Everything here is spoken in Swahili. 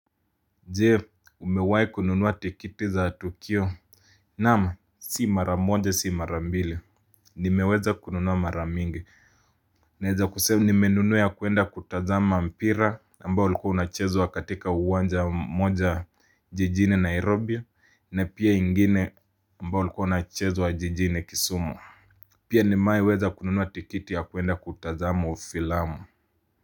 Jee, umewahi kununuwa tikiti za tukio. Naam, si mara moja si mara mbili. Nimeweza kununuwa maramingi. Naeza kusema nimenunua ya kuenda kutazama mpira, ambao ulikuwa unachezwa katika uwanja moja jijini Nairobi, na pia ingine ambao ulikuwa unachezwa jijini Kisumu. Pia nimewahi weza kununua tikiti ya kuenda kutazama ufilamu.